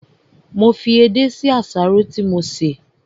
Mo fi edé sí àsáró tí mo sè